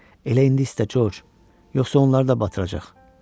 Elə indi istə Corc, yoxsa onları da batıracaq.